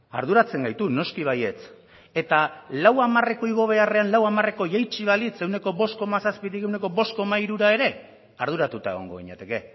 arduratzen gaitu noski baietz eta lau hamarreko igo beharrean lau hamarreko jaitsi balitz ehuneko bost koma zazpitik ehuneko bost koma hirura ere arduratuta egongo ginateke